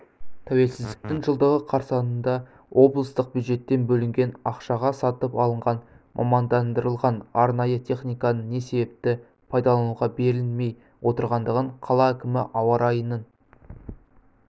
тәуелсіздіктің жылдығы қарсаңында облыстық бюджеттен бөлінген ақшаға сатып алынған мамандандырылған арнайы техниканың не себепті пайдалануға берілмей отырғандығын қала әкімі ауа райының